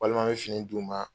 Walima n bɛ fini d'u ma,